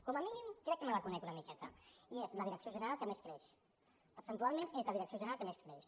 com a mínim crec que me la conec una miqueta i és la direcció general que més creix percentualment és la direcció general que més creix